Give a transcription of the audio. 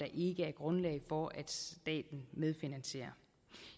ikke er grundlag for at staten medfinansierer